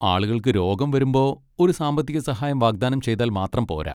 ആളുകൾക്ക് രോഗം വരുമ്പോ ഒരു സാമ്പത്തിക സഹായം വാഗ്ദാനം ചെയ്താൽ മാത്രം പോര.